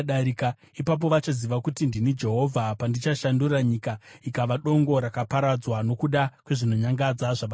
Ipapo vachaziva kuti ndini Jehovha, pandichashandura nyika ikava dongo rakaparadzwa nokuda kwezvinonyangadza zvavakaita.’